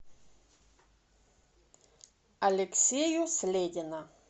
алексею следина